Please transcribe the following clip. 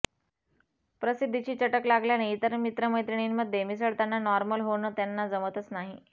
प्रसिद्धीची चटक लागल्याने इतर मित्रमैत्रिणींमध्ये मिसळताना नॉर्मल होणं त्यांना जमतच नाही